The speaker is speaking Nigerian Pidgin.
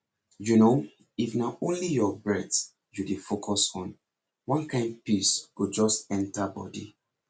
you know if na only your breath you dey focus on one kain peace go just enter body